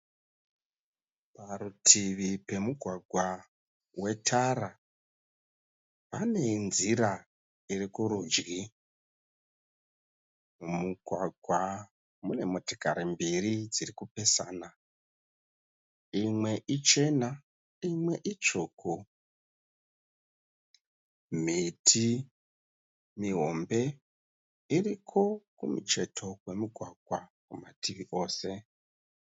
Parutivi pemugwagwa wetara pane nzira iri kurudyi. Mumugwagwa mune motikari mbiri dziri kupesana. Imwe ichena imwe itsvuku. Miti mihombe iri kumucheto kwemugwagwa kumativi ose.